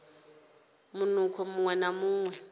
munukho muṅwe na muṅwe u